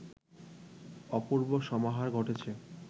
অপূর্ব সমাহার ঘটেছে